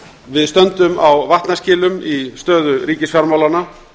við stöndum á vatnaskilum í stöðu ríkisfjármálanna